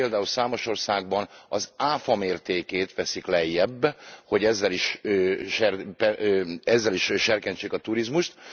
Ilyen például számos országban az áfa mértékét veszik lejjebb, hogy ezzel is serkentsék a turizmust.